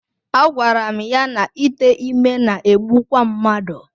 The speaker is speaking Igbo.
Agwara m ya na ite ime na-egbukwa mmadụ.